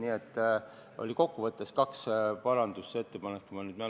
Nii et kokkuvõttes oli kaks parandusettepanekut, kui mu mälu ei peta.